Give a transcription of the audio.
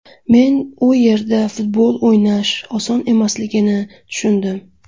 Men u yerda futbol o‘ynash oson emasligini tushundim.